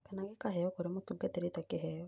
Kana gĩkaheyo kũrĩ mũtungatĩri ta kĩheo.